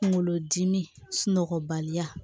Kunkolodimi sunɔgɔbaliya